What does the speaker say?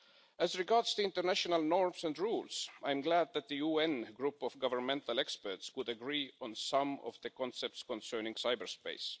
As regards international norms and rules, I am glad that the UN Group of Governmental Experts would agree on some of the concepts concerning cyberspace.